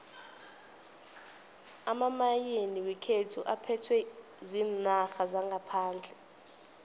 amamayini wekhethu aphethwe ziinarha zangaphandle